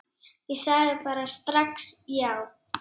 Ég sagði bara strax já.